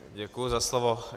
Děkuji za slovo.